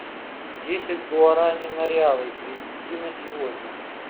десять гуарани на реалы перевести на сегодня